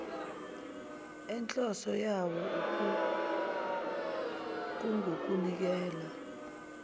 enhloso yayo kungukunikela